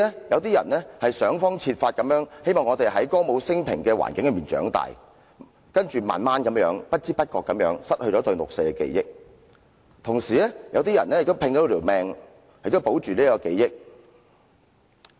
有些人想方設法，希望在歌舞昇平的環境裏長大，之後慢慢地、不知不覺地失去了對六四事件的記憶；同時，有些人拼命要保存這種記憶。